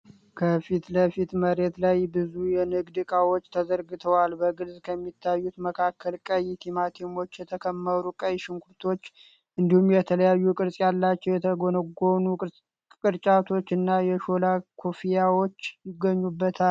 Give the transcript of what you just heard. ከፊት ለፊት መሬት ላይ ብዙ የንግድ ዕቃዎች ተዘርግተዋል። በግልጽ ከሚታዩት መካከል ቀይ ቲማቲሞች፣ የተከመሩ ቀይ ሽንኩርቶች እንዲሁም የተለያዩ ቅርፅ ያላቸው የተጎነጎኑ ቅርጫቶች እና የሾላ ኮፍያዎች ይገኙበታል።